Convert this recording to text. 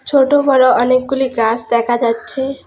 ছোট বড় অনেকগুলি গাস দেখা যাচ্ছে।